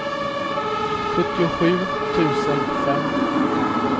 sjuttiosju tusen fem